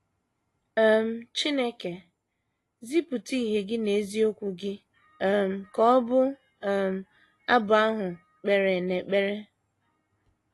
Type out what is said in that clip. um “ Chineke,... zipụta ìhè Gị na eziokwu Gị, ” um ka ọbụ um abụ ahụ kpere n’ekpere.